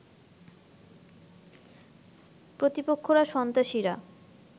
প্রতিপক্ষরা সন্ত্রাসীরা